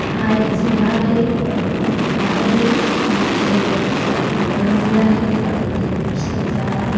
हा एक झरा आहे अह धबधबा आहे याच्याजवळ खूप सारे दगडं वगैरे आहेत आजूबाजूला खूप सारे झाड आहे.